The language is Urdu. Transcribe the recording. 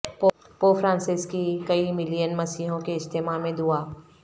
پوپ فرانسیس کی کئی ملین مسیحیوں کے اجتماع میں دعا